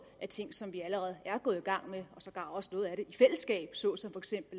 er ting som vi allerede er gået i gang med og sågar også noget af det i fællesskab såsom